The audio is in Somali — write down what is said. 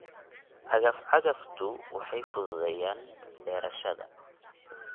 Cagaf-cagaftu waxay fududeeyaan beerashada.